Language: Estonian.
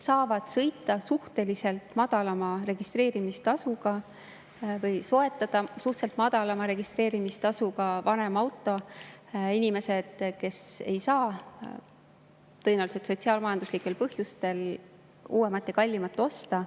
Suhteliselt madalama registreerimistasuga vanema auto saavad soetada inimesed, kes ei saa tõenäoliselt sotsiaal-majanduslikel põhjustel uuemat ja kallimat osta.